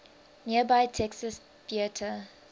nearby texas theater